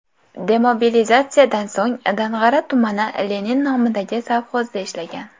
Demobilizatsiyadan so‘ng, Dang‘ara tumani Lenin nomidagi sovxozda ishlagan.